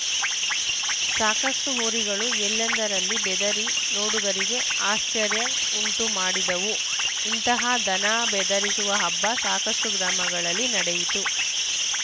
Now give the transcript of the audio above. ಸಾಕಷ್ಟುಹೋರಿಗಳು ಎಲ್ಲೆಂದರಲ್ಲಿ ಬೆದರಿ ನೋಡುಗರಿಗೆ ಆಶ್ಚರ್ಯ ಉಂಟುಮಾಡಿದವು ಇಂತಹ ದನ ಬೆದರಿಸುವ ಹಬ್ಬ ಸಾಕಷ್ಟುಗ್ರಾಮಗಳಲ್ಲಿ ನಡೆಯಿತು